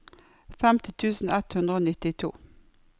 femti tusen ett hundre og nittito